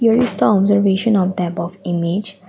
here is the observation of the above image.